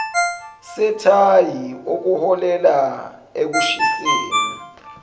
sethayi okuholela ekushiseni